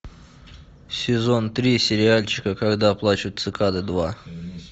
сезон три сериальчика когда плачут цикады два